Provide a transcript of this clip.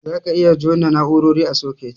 Zaka iya jona na'urori a soket.